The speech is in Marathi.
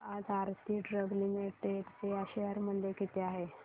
सांगा आज आरती ड्रग्ज लिमिटेड चे शेअर मूल्य किती आहे